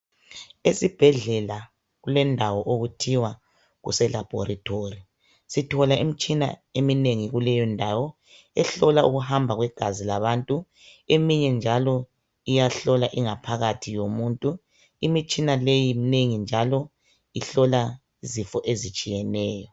Esibhedlela kulendawo okuthiwa kuse Labolatory sithola imitshina eminengi kuleyondawo ehlola ukuhamba kwegazi labantu eminye njalo iyahlola ingaphakathi yomuntu imutshina leyo minengi njalo iyayelapha izifo ezinengi ezitshiyeneyo